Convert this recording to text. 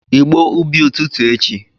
igbo ubi ututu echi!